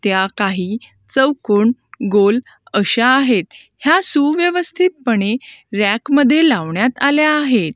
त्या काही चौकोन गोल अशा आहेत ह्या सुव्यवस्थीत पणे रॅक मध्ये लावण्यात आल्या आहेत.